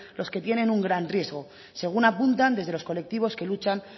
los que tienen un gran riesgo según apuntan desde los colectivos que luchan